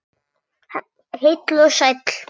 Heill og sæll!